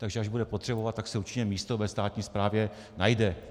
Takže až bude potřebovat, tak se určitě místo ve státní správě najde.